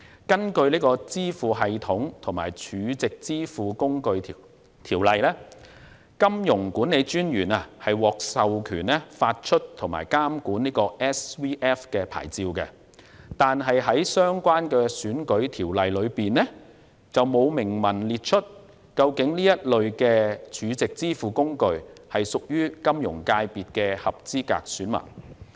根據《支付系統及儲值支付工具條例》，金融管理專員獲授權發出及監管 SVF 牌照，但在相關的選舉條例中，卻沒有明文規定這類 SVF， 是否屬於金融界別的合資格選民。